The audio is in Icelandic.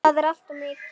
Það er allt of mikið.